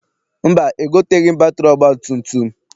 Mba, egoteghị m batịrị ọgbatumtum.